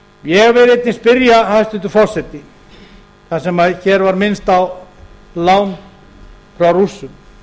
ég vil einnig spyrja hæstvirtur forseti þar sem hér var minnst á lán frá rússum